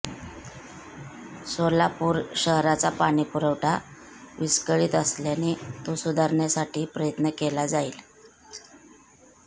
सोलापूर शहराचा पाणीपुरवठा विस्कळीत असल्याने तो सुधारण्यासाठी प्रयत्न केला जाईल